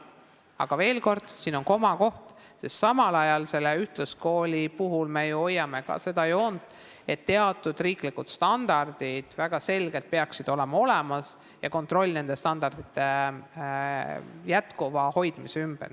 Aga veel kord, siin on oma oht, sest ühtluskooli puhul me ju hoiame ka seda joont, et teatud riiklikud standardid peaksid väga selgelt olemas olema ja peaks olema nende standardite jätkuva hoidmise kontroll.